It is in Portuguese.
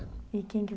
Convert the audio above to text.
E quem que